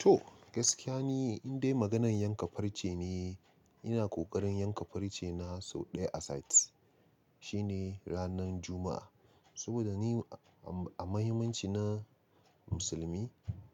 To gaskiya ne, indai maganan yanka farce ne. Ina ƙoƙarin yanka farce na sau ɗaya a sati, shine ranan Juma'a. Saboda ni a mahimmanci na musulmi,